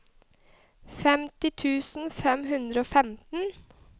femti tusen fem hundre og femten